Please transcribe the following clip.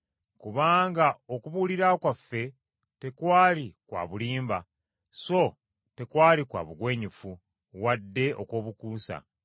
Kubanga okubuulirira kwaffe tekwali kwa bulimba so tekwali kwa bugwenyufu, wadde okw’obukuusa,